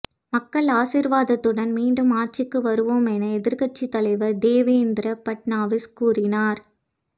மக்கள் ஆசீர்வாதத்துடன் மீண்டும் ஆட்சிக்கு வருவோம் என எதிர்க்கட்சி தலைவர் தேவேந்திர பட்னாவிஸ் கூறினார்